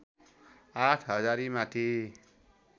आठ हजारीमाथि